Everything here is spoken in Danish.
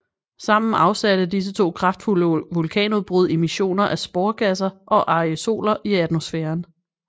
Sammen afsatte disse to kraftfulde vulkanudbrud emissioner af sporgasser og aerosoler i atmosfæren